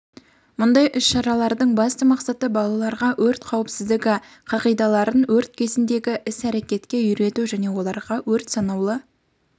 мұндай іс-шаралардың басты мақсаты балаларға өрт қауіпсіздігі қағидаларын өрт кезіндегі іс-әрекетке үйрету және оларға өрт санаулы